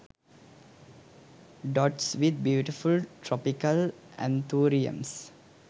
dots with beautiful tropical anthuriums